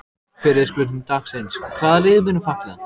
Fyrri spurning dagsins: Hvaða lið munu falla?